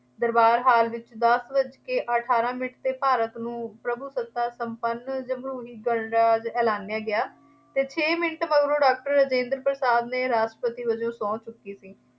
ਦਰਬਾਰ hall ਵਿੱਚ ਦੱਸ ਵੱਜ ਕੇ ਅਠਾਰਾਂ ਮਿੰਟ ’ਤੇ ਭਾਰਤ ਨੂੰ ਪ੍ਰਭੂਸੱਤਾ ਸੰਪੰਨ ਜਮਹੂਰੀ ਗਣਰਾਜ ਐਲਾਨਿਆ ਗਿਆ ਅਤੇ ਛੇ ਮਿੰਟ ਮਗਰੋਂ ਡਾਕਟਰ ਰਾਜਿੰਦਰ ਪ੍ਰਸਾਦ ਨੇ ਰਾਸ਼ਟਰਪਤੀ ਵਜੋਂ ਸਹੁੰ ਚੁੱਕੀ ਸੀ।